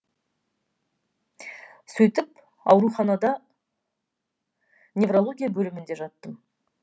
сөйтіп ауруханада неврология бөлімінде жаттым